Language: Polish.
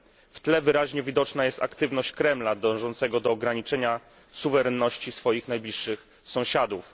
W tle wyraźnie widoczna jest aktywność Kremla dążącego do ograniczenia suwerenności swoich najbliższych sąsiadów.